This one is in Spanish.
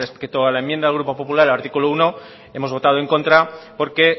respecto a la enmienda del grupo popular al artículo uno hemos votado en contra porque